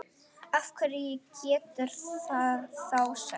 Hverju getur það þá sætt?